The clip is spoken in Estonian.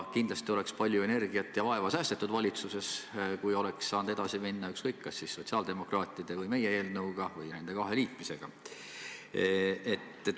Kindlasti oleks palju energiat ja vaeva säästetud valitsuses, kui oleks saanud edasi minna ükskõik kas sotsiaaldemokraatide või meie eelnõuga või neid kahte liites.